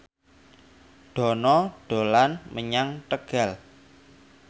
Dono dolan menyang Tegal